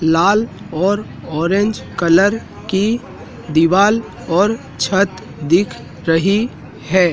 लाल और orange colour की दीवाल और छत दिख रही है।